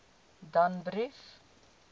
danbrief